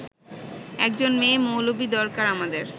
একজন মেয়ে-মৌলবি দরকার আমাদের